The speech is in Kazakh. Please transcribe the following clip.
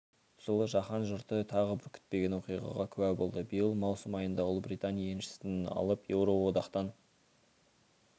жылы жаһан жұрты тағы бір күтпеген оқиғаға куә болды биыл маусым айында ұлыбритания еншісін алып еуроодақтан